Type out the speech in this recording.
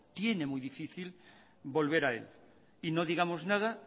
tiene muy difícil volver a él y no digamos nada